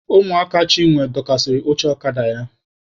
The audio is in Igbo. Ụmụaka Chinwe dọkasịrị oche ọkada ya.